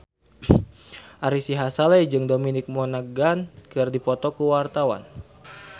Ari Sihasale jeung Dominic Monaghan keur dipoto ku wartawan